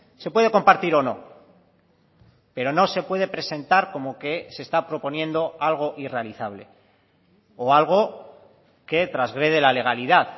se puede compartir o no pero no se puede presentar como que se está proponiendo algo irrealizable o algo que trasgrede la legalidad